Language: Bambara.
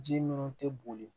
Ji minnu tɛ boli